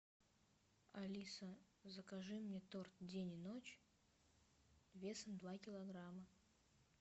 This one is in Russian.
алиса закажи мне торт день и ночь весом два килограмма